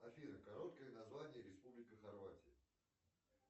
афина короткое название республика хорватия